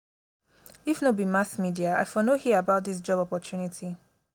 if no be mass media i for no hear about dis job opportunity.